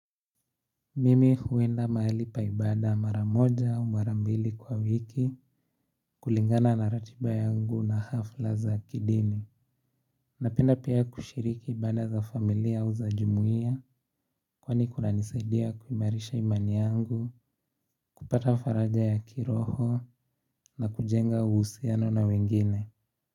Mimi huenda maali pa ibada mara moja au mara mbili kwa wiki kulingana na ratiba yangu na hafla za kidini Napenda pia kushiriki ibanda za familia au za jumuia Kwani kunanisaidia kuimarisha imani yangu kupata faraja ya kiroho na kujenga uhusiano na wengine.